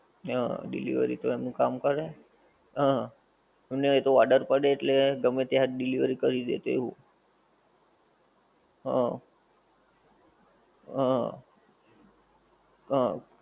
હ delivery તો એનું કામ કરે હ એટલે એતો order કરે એટલે ગમે ક્યાંક delivery કરી દે એવું હ હ હ